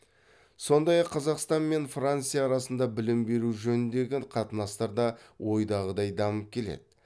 сондай ақ қазақстан мен франция арасында білім беру жөніндегі қатынастар да ойдағыдай дамып келеді